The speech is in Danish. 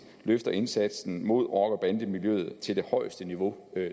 løfter indsatsen mod rockerbandemiljøet til det højeste niveau